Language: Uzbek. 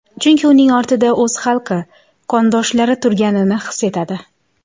Chunki uning ortida o‘z xalqi, qondoshlari turganini his etadi.